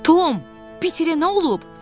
Tom, Piterə nə olub?